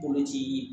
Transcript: Koloci